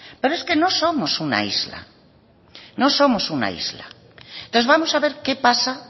pero es que no somos una isla no somos una isla entonces vamos a ver qué pasa